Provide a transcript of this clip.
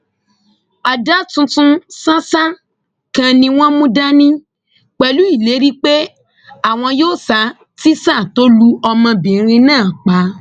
ada tuntun ṣàṣà kan ni wọn mú dání pẹlú ìlérí pé àwọn yóò ṣa tíṣà tó lu ọmọbìnrin náà pa